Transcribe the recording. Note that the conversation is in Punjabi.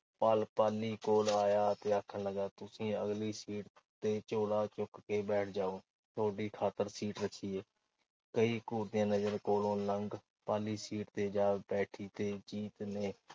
ਪਲ ਪਾਲੀ ਕੋਲ ਆਇਆ ਤੇ ਆਖਣ ਲੱਗਾ। ਤੁਸੀਂ ਅਗਲੀ ਸੀਟ ਤੇ ਝੋਲਾ ਚੁੱਕ ਕੇ ਬੈਠ ਜਾਓ। ਤੁਹਾਡੀ ਖਾਤਰ ਸੀਟ ਰੱਖੀ ਐ। ਕਈ ਘੂਰਦੀਆਂ ਨਜ਼ਰਾਂ ਕੋਲੋਂ ਲੰਘ ਪਾਲੀ ਸੀਟ ਤੇ ਜਾ ਬੈਠੀ ਤੇ ਜੀਤ ਨੇ